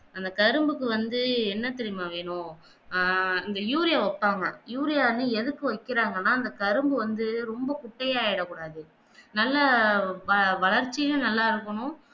அந்த கரும்புக்கு வந்து என்ன தெரியுமா வெனும் ஆஹ் அந்த யூறியா வெப்பாங்க யூரியாவ எதுக்கு வெக்கிறாங்கன்னா அந்த கரும்பு வந்து ரொம்ப குட்டையாகிட கூடாது நல்ல வ வளர்ச்சியும் நல்லா இருக்கணும்